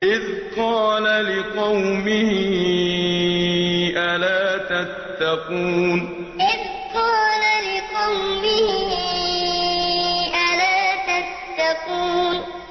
إِذْ قَالَ لِقَوْمِهِ أَلَا تَتَّقُونَ إِذْ قَالَ لِقَوْمِهِ أَلَا تَتَّقُونَ